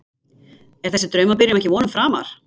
Er þessi draumabyrjun ekki vonum framar?